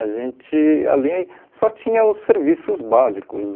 A gente, ali, só tinha os serviços básicos.